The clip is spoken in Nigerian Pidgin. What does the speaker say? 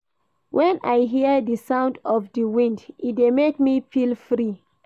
Wen I hear di sound of di wind, e dey make me feel free.